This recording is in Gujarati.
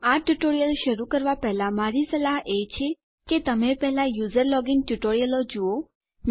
આ ટ્યુટોરીયલ શરૂ કરવા પહેલા મારી સલાહ છે કે તમે પહેલા યુઝર લોગિન ટ્યુટોરીયલો જુઓ